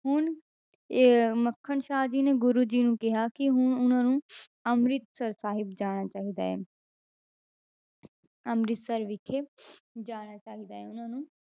ਹੁਣ ਇਹ ਮੱਖਣ ਸ਼ਾਹ ਜੀ ਨੇ ਗੁਰੂ ਜੀ ਨੂੰ ਕਿਹਾ ਕਿ ਹੁਣ ਉਹਨਾਂ ਨੂੰ ਅੰਮ੍ਰਿਤਸਰ ਸਾਹਿਬ ਜਾਣਾ ਚਾਹੀਦਾ ਹੈ ਅੰਮ੍ਰਿਤਸਰ ਵਿਖੇ ਜਾਣਾ ਚਾਹੀਦਾ ਹੈ ਉਹਨਾਂ ਨੂੰ।